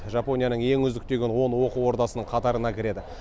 жапонияның ең үздік деген он оқу ордасының қатарына кіреді